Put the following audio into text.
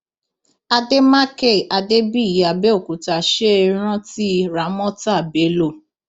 àdèmàkè adébíyí àbẹòkúta ṣe é rántí ramọta bello